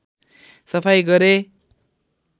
सफाई गरे